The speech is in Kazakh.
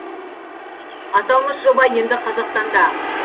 аталмыш жоба енді қазақстанда